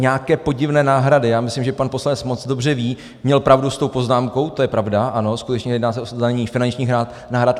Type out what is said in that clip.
Nějaké podivné náhrady - já myslím, že pan poslanec moc dobře ví, měl pravdu s tou poznámkou, to je pravda, ano, skutečně jedná se o zdanění finančních náhrad.